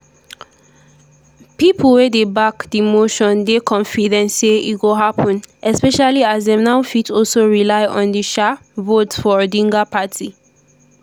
pipo wey dey back di motion dey confident say e go happun especially as dem now fit also rely on di um votes for odinga party.